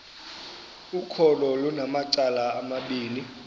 ukholo lunamacala amabini